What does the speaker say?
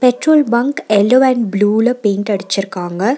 Petrol bunk yellow and blue ல paint அடிச்சுருக்காங்க.